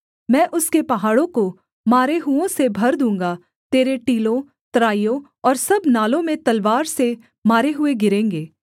मैं उसके पहाड़ों को मारे हुओं से भर दूँगा तेरे टीलों तराइयों और सब नालों में तलवार से मारे हुए गिरेंगे